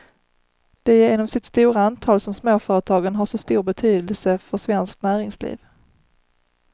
Det är genom sitt stora antal som småföretagen har så stor betydelse för svenskt näringsliv.